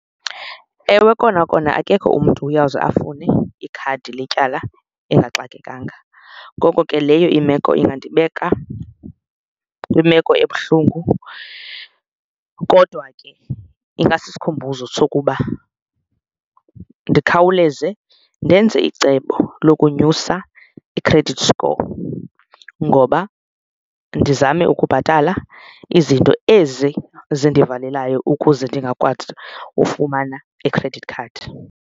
Ewe, kona kona akekho umntu uyawuze afune ikhadi letyala engaxakekanga ngoko ke leyo imeko ingandibeka kwimeko ebuhlungu. Kodwa ke ingasisikhumbuzo sokuba ndikhawuleze ndenze icebo lokunyusa i-credit score ngoba ndizame ukubhatala izinto ezi zindivalelayo ukuze ndingakwazi ufumana i-credit card.